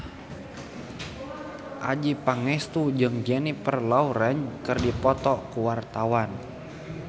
Adjie Pangestu jeung Jennifer Lawrence keur dipoto ku wartawan